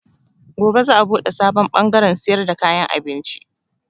Gobe za a buɗe sabon bangarrn siyar da kayan abinci.